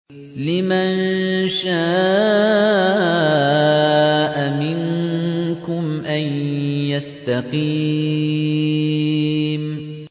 لِمَن شَاءَ مِنكُمْ أَن يَسْتَقِيمَ